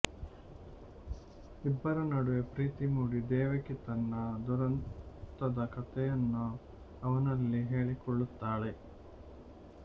ಇಬ್ಬರ ನಡುವೆ ಪ್ರೀತಿ ಮೂಡಿ ದೇವಕಿ ತನ್ನ ದುರಂತದ ಕಥೆಯನ್ನು ಅವನಲ್ಲಿ ಹೇಳಿಕೊಳ್ಳುತ್ತಾಳೆ